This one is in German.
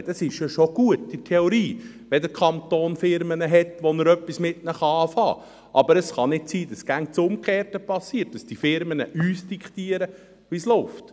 Leute, es ist ja in der Theorie schon gut, wenn der Kanton Unternehmen hat, mit denen er etwas anfangen kann, aber es kann nicht sein, dass immer das Umgekehrte geschieht, nämlich, dass die Unternehmen uns diktieren, wie es läuft.